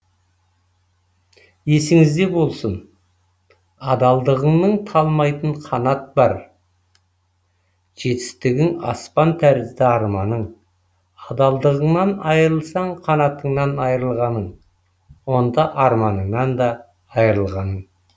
есіңіз де болсын адалдығыңның талмайтын қанат бар жетістігің аспан тәрізді арманың адалдығыңнан айырылсаң қанатыңнан айырылғаның онда арманыңнан да айырылғаның